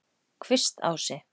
Kvistási